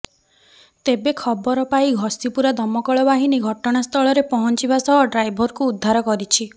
ତେବେ ଖବର ପାଇ ଘଷିପୁରା ଦମକଳ ବାହିନୀ ଘଟଣା ସ୍ଥଳରେ ପହଞ୍ଚିବା ସହ ଡ୍ରାଇଭରକୁ ଉଦ୍ଧାର କରିଛି